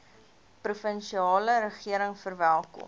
provinsiale regering verwelkom